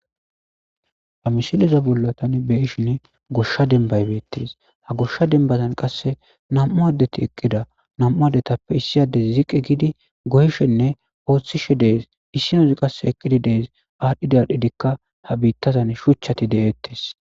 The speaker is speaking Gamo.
ha misileza bolla tani beyishin goshsha denbaybeettidis ha goshsha dembazan qasse nam7u addeti eqqida nam7u adetappe issiyades ziqi giidi gohshenne ooththishe dees issinozi qasse eqqidi dees aadhdhidadhidikka ha biittazan shuchchati de7eettiis